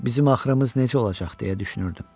Bizim axırımız necə olacaq deyə düşünürdüm.